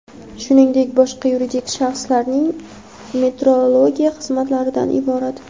shuningdek boshqa yuridik shaxslarning metrologiya xizmatlaridan iborat.